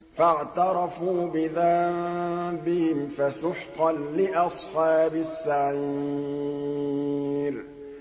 فَاعْتَرَفُوا بِذَنبِهِمْ فَسُحْقًا لِّأَصْحَابِ السَّعِيرِ